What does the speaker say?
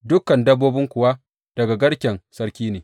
Dukan dabbobin kuwa daga garken sarki ne.